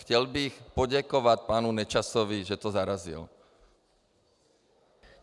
Chtěl bych poděkovat panu Nečasovi, že to zarazil.